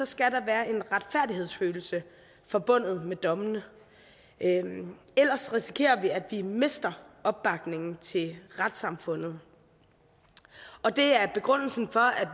skal der være en retfærdighedsfølelse forbundet med dommene ellers risikerer vi at vi mister opbakningen til retssamfundet og det er begrundelsen for at